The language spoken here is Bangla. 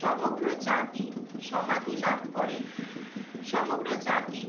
সমগ্র জাতি সমাধি লাভ করে, সমগ্র জাতি